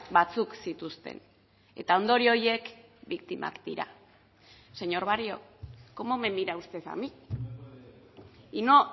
batzuk zituzten eta ondorio horiek biktimak dira señor barrio cómo me mira usted a mí y no